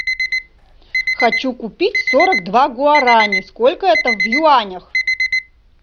хочу купить сорок два гуарани сколько это в юанях